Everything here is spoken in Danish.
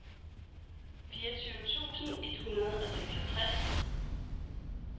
fireogtyve tusind et hundrede og seksogtres